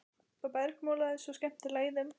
Það bergmálaði svo skemmtilega í þeim.